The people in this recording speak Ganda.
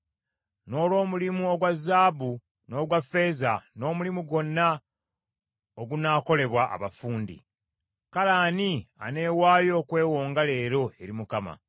n’olw’omulimu ogwa zaabu n’ogwa ffeeza, n’omulimu gwonna ogunaakolebwa abafundi. Kale ani aneewaayo okwewonga leero eri Mukama ?”